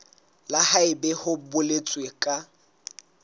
le haebe ho boletswe ka